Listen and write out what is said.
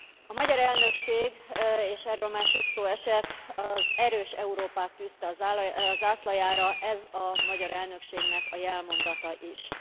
A magyar elnökség, és erről már sok szó esett, az erős Európát tűzte a zászlajára. Ez a magyar elnökségnek a jelmondata is.